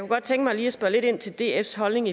godt tænke mig lige at spørge lidt ind til dfs holdning